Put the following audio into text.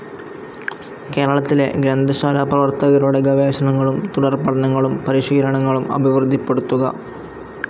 കേരളത്തിലെ ഗ്രന്ഥശാലാപ്രവർത്തകരുടെ ഗവേഷണളും തുടർപഠനങ്ങളും പരിശീലനങ്ങളും അഭിവൃദ്ധിപ്പെടുത്തുക.